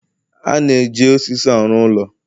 A na-eji osisi arụ ụlọ